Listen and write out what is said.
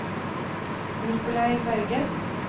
Nikolai Berge